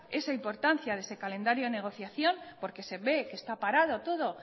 esa importancia de ese calendario de negociación porque se ve que está parado todo